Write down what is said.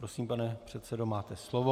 Prosím, pane předsedo, máte slovo.